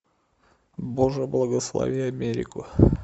боже благослови америку